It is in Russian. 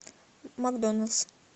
макдоналдс